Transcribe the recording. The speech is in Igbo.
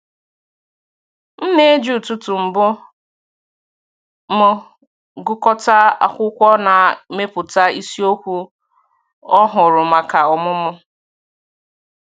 M na-eji ụtụtụ mbụ m gụkọta akwụkwọ na mepụta isiokwu ọhụrụ maka ọmụmụ.